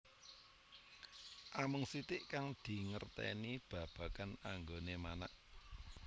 Amung sitik kang dingertèni babagan anggoné manak